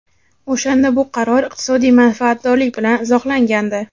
O‘shanda bu qaror iqtisodiy manfaatdorlik bilan izohlangandi.